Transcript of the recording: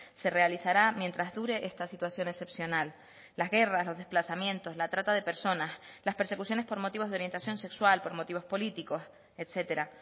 se realizará mientras dure esta situación excepcional las guerras los desplazamientos la trata de personas las persecuciones por motivos de orientación sexual por motivos políticos etcétera